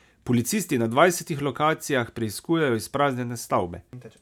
Policisti na dvajsetih lokacijah preiskujejo izpraznjene stavbe.